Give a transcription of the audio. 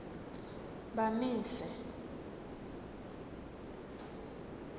bamise